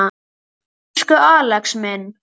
Elsku Axel minn.